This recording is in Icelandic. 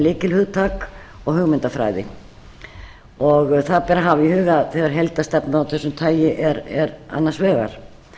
lykilhugtak og hugmyndafræði og það ber að hafa í huga þegar heildarstefna af þessu tagi er annars vegar